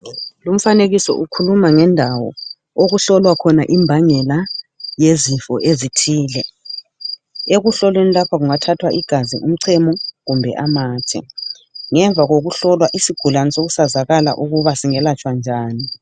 Lomfanekiso ukhuluma ngendawo okuhlolwa khona imbangela yezifo ezithile ekuhlolweni lapha kunga thathwa igazi umchamo kumbe amathe ngemva kokuhlolwa isigulani sokwazalala ukuthi singalatshwa njani.